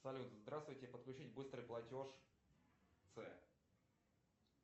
салют здравствуйте подключить быстрый платеж ц